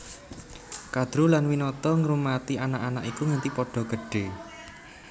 Kadru lan Winata ngrumati anak anak iku nganti padha gedhé